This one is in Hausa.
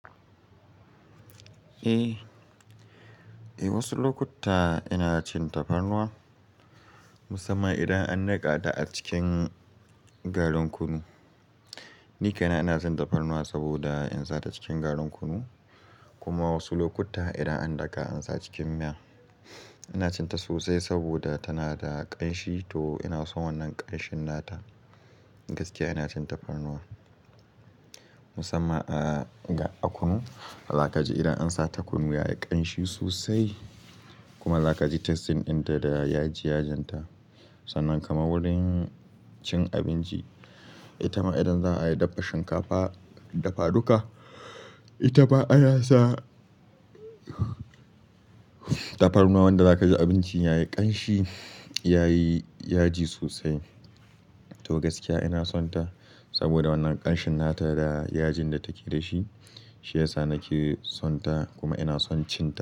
Eh, wasu lokuta ina cin tafarnuwa musamman idan an niƙa ta a cikin garin kunu. Ni kaina ina son tafarnuwa saboda in sa ta cikin garin kunu. Kuma wasu lokuta idan an daƙa an sa cikin miya, ina cin ta sosai saboda tana da ƙanshi to ina son wannan ƙanshin nata. Gaskiya ina cin tafarnuwa musamman a kunu. Za ka ji idan an sa ta kunu yayi ƙanshi sosai kuma za ka ji text din da yaji yajinta. Sannan kamar wurin cin abinci, ita ma idan za a yi dafa shinkafa, dafa duka, ita ma ana sa tafarnuwa wanda za ka ji abincin yayi ƙanshi, yayi yaji sosai. To gaskiya ina son ta saboda wannan ƙanshin nata da yajin da take da shi, shi yasa nake son ta kuma ina son cin ta.